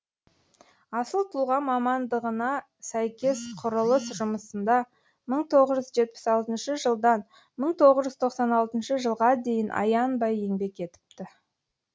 асыл тұлға мамандығына сәйкес құрылыс жұмысында бір мың тоғыз жүз жетпіс алтыншы жылдан бір мың тоғыз жүз тоқсан алтыншы жылға дейін аянбай еңбек етіпті